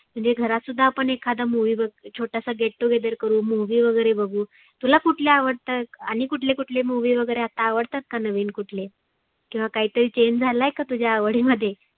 म्हणजे घरात सुद्धा एखादी movie एक छोटासा get together करु movie वगैरे बघु. तुला कुठल्या आवडतात आणि कुठले कुठले movie वगैरे अता आवडतात का नविन कुठले. किंवा काहितरी change झालाय का तुझ्या आवडी मध्ये?